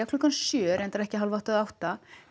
klukkan sjö reyndar ekki hálfátta eða átta